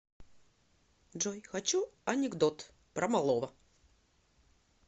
джой хочу анекдот про малого